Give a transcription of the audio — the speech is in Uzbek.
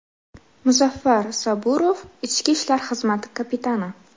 Muzaffar Saburov, ichki ishlar xizmati kapitani.